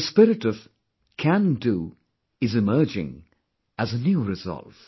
The spirit of 'can do', is emerging as a new resolve